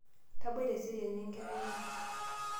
tabai teseriani enkerai ai